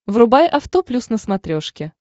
врубай авто плюс на смотрешке